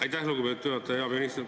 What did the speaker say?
Aitäh, lugupeetud juhataja!